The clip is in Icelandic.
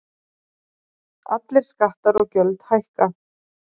Allir skattar og gjöld hækka